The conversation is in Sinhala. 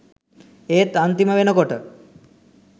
ඒත් අන්තිම වෙනකොට